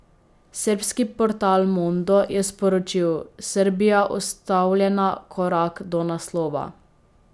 Srbski portal Mondo je sporočil: ''Srbija ustavljena korak do naslova.